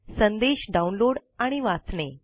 संदेश डाउनलोड आणि वाचणे